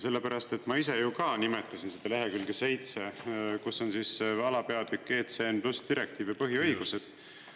Sellepärast et ma ise ju ka nimetasin seda lehekülge 7, kus on alapeatükk "ECN+ direktiiv ja põhiõigused".